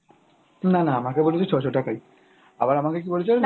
না না আমাকে বলেছে ছ'শো টাকাই আবার আমাকে কী বলছে জানিস